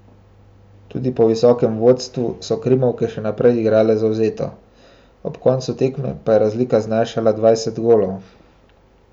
Tudi po visokem vodstvu so krimovke še naprej igrale zavzeto, ob koncu tekme pa je razlika znašala dvajset golov.